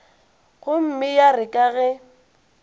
gomme ya re ka ge